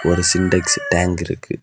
ஒரு Sintex tank இருக்கு.